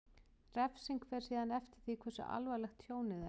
Refsing fer síðan eftir því hversu alvarlegt tjónið er.